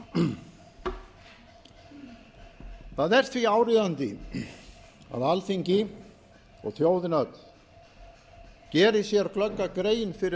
norðurslóða það er því áríðandi að alþingi og þjóðin öll geri sér glögga grein fyrir